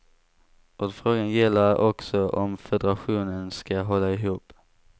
Vad frågan gäller är också om federationen ska hålla ihop.